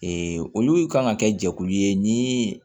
olu kan ka kɛ jɛkulu ye ni